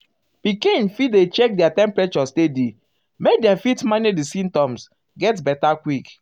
pikin fit dey check their temperature steady um make dem fit manage di symptoms get beta quick.